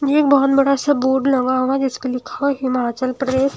एक बहुत बड़ा सा बोर्ड लगा हुआ है जिस पे लिखा हुआ है हिमालय प्रदेश--